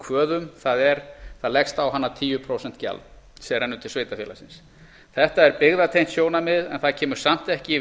kvöðum það er það leggst á hana tíu prósent gjald sem rennur til sveitarfélagsins þetta er byggðatengt sjónarmið en það kemur samt ekki í